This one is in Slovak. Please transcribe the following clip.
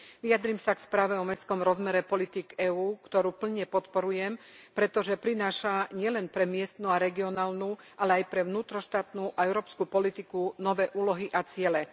Vyjadrím sa k správe o mestskom rozmere politík EÚ, ktorú plne podporujem, pretože prináša nielen pre miestnu a regionálnu, ale aj pre vnútroštátnu a európsku politiku nové úlohy a ciele.